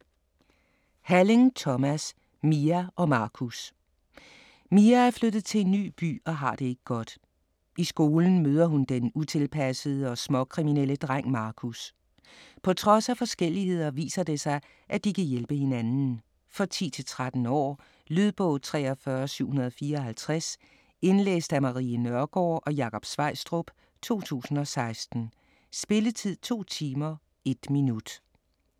Halling, Thomas: Mia & Marcus Mia er flyttet til en ny by og har det ikke godt. I skolen møder hun den utilpassede og småkriminelle dreng Marcus. På trods af forskelligheder viser det sig, at de kan hjælpe hinanden. For 10-13 år. Lydbog 43754 Indlæst af Marie Nørgaard og Jakob Sveistrup, 2016. Spilletid: 2 timer, 1 minut.